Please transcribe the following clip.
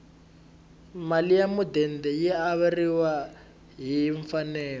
mali ya mudende yi averiwa hi mfanelo